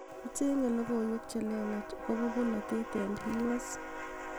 acheng'e logoiwek chelelach agopo bolotet en u.s